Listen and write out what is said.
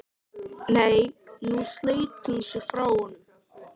Nei, nú sleit hún sig frá honum.